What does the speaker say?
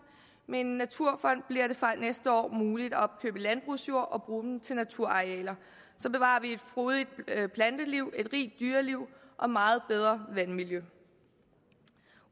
med en naturfond bliver det fra næste år muligt at opkøbe landbrugsjord og bruge dem til naturarealer så bevarer vi et frodigt planteliv og et rigt dyreliv og får meget bedre vandmiljø